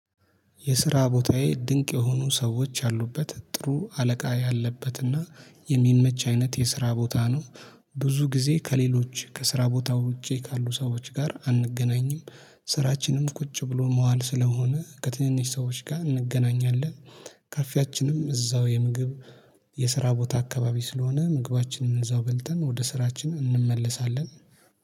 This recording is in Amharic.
የስራ ቦታዬ ድንቅ የሆኑ ሰዎች ያሉበት ጥሩ አለቃ ያለበትና የሚመች አይነት የስራ ቦታ ነው። ብዙ ጊዜ ከሌሎች ከስራ ቦታ ውጪ ካሉ ሰዎች ጋር አንገናኝም። ስራችንም ቁጭ ብሎ መዋል ስለሆነ ከትንንሽ ሰዎች ጋር እንገናኛለን። ካፌያችንም እዛው የምግብ የስራ ቦታ አካባቢ ስለሆነ ምግባችንን እዛው በልተን ወደ ስራችን እንመለሳለን